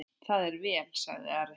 Það er vel, sagði Ari.